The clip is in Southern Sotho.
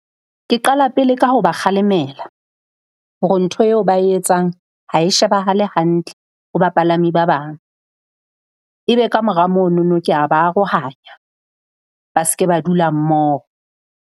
Ke qala pele ka ho ba kgalemela hore ntho eo ba e etsang ha e shebahale hantle ho bapalami ba bang. Ebe kamora monono kea ba arohanya ba se ke ba dula mmoho.